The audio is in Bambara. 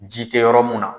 Ji tɛ yɔrɔ mun na